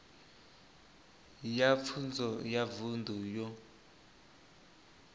ya pfunzo ya vunḓu yo